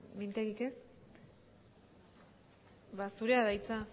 mintegik ez ba zurea da hitza